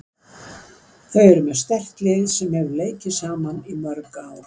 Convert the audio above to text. Þeir eru með sterkt lið sem hefur leikið saman í mörg ár.